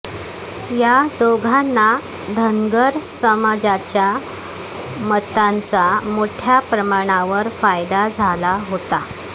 या दोघांना धनगर समाज्याच्या मतांचा मोठ्या प्रमाणावर फायदा झाला होता